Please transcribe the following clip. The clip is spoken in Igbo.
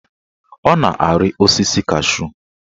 Ọ na-arị osisi cashu